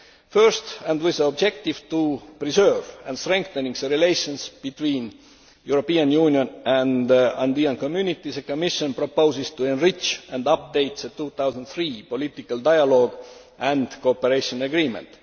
First, and with the objective of preserving and strengthening relations between the European Union and the Andean Community, the Commission proposes to enrich and update the 2003 political dialogue and cooperation agreement.